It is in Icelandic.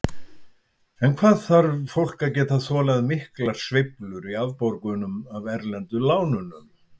En hvað þarf fólk að geta þolað miklar sveiflur í afborgunum af erlendu lánunum?